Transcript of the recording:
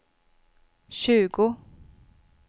tjugo